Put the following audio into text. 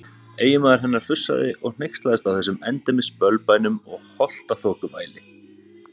Eiginmaður hennar fussaði og hneykslaðist á þessum endemis bölbænum og holtaþokuvæli.